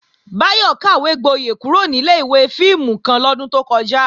Báyọ̀ kàwégboyẹ̀ kúrò ní ilé-ìwé fíìmù kan lọ́dún tó kọjá